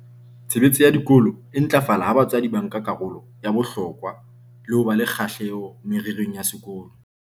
"Tshebetso ya dikolo e ntlafala ha batswadi ba nka karolo ya bohlokwa le ho ba le kgahleho mererong ya sekolo."